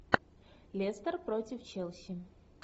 лестер против челси